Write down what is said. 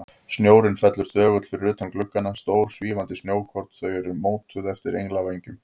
Snjórinn fellur þögull fyrir utan gluggana, stór, svífandi snjókorn, þau eru mótuð eftir englavængjum.